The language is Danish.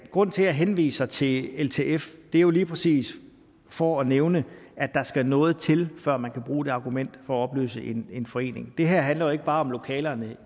grunden til jeg henviser til ltf er jo lige præcis for at nævne at der skal noget til før man kan bruge det argument for at opløse en forening det her handler jo ikke bare om lokalerne